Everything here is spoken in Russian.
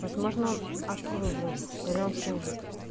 возможно отслужил или он служит